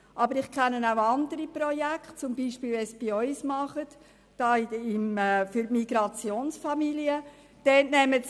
Aber ich kenne auch andere Projekte, wie sie bei uns für Migrationsfamilien angeboten werden.